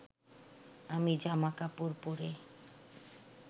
আমি জামা কাপড় পরে